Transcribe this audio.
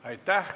Aitäh!